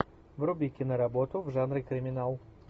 вруби киноработу в жанре криминал